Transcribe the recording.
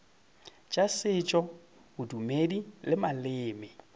tša setšo bodumedi le maleme